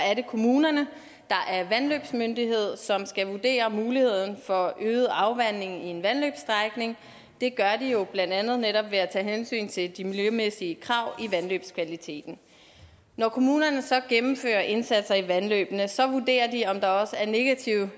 er det kommunerne der er vandløbsmyndighed som skal vurdere muligheden for øget afvanding i en vandløbsstrækning det gør de jo blandt andet netop ved at tage hensyn til de miljømæssige krav i vandløbskvaliteten når kommunerne så gennemfører indsatser i vandløbene vurderer de om der også er negative